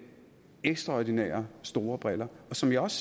ekstraordinært store briller som jeg også